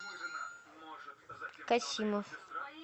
касимов